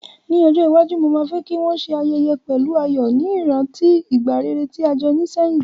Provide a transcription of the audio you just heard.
Ní ojó iwaju, ma fe ki won se ayẹyẹ pẹ̀lu ayò, ni ìrántí ìgbà rere ti a jo ni sehín